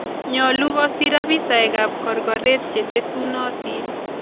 Nyolu koosir abisaaekaab korkoret chetesunotin